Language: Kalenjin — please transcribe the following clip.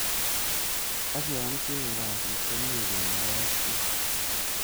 Ak yon ichenge kasit, komie kenoyo ak bik.